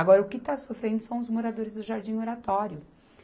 Agora, o que está sofrendo são os moradores do Jardim Oratório.